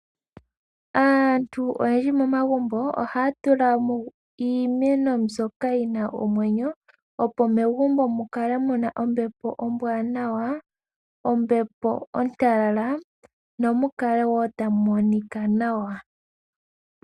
Aantu oyendji momagumbo ohaa tula mo iimeno mbyoka yi na omwenyo, opo megumbo mu kale mu na ombepo ombwanawa, ombepo ontalala nomu kale wo tamu monika nawa.